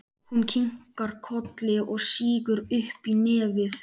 Hún kinkar kolli og sýgur upp í nefið.